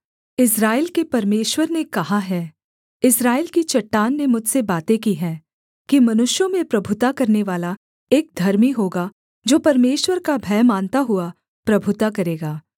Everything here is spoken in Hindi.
इस्राएल के परमेश्वर ने कहा है इस्राएल की चट्टान ने मुझसे बातें की हैं कि मनुष्यों में प्रभुता करनेवाला एक धर्मी होगा जो परमेश्वर का भय मानता हुआ प्रभुता करेगा